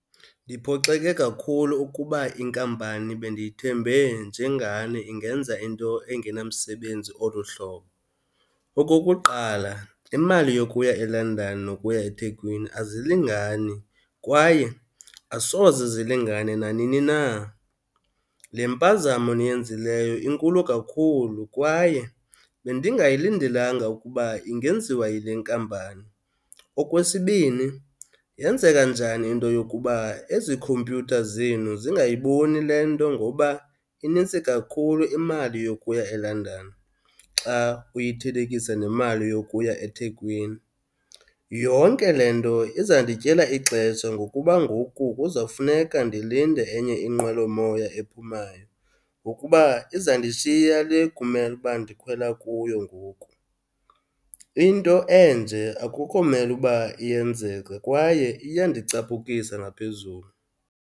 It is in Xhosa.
Ndiphoxeke kakhulu ukuba inkampani bendiyithembe njengani ingenza into engenamsebenzi olu hlobo. Okokuqala, imali yokuya eLondon nokuya eThekwini azilingani kwaye asoze zilingane nanini na. Le mpazamo niyenzileyo inkulu kakhulu kwaye bendingayilindelanga ukuba ingenziwa yile nkampani. Okwesibini, yenzeka njani into yokuba ezi khompyutha zenu zingayiboni le nto ngoba inintsi kakhulu imali yokuya eLondon xa uyithelekisa nemali yokuya eThekwini? Yonke le nto izandityela ixesha ngokuba ngoku kuzawufuneka ndilinde enye inqwelomoya ephumayo ngokuba izandishiya le kumele uba ndikhwela kuyo ngoku. Into enje akukho mele uba iyenzeka kwaye iyandicapukisa ngaphezulu.